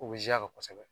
O bɛ za kosɛbɛ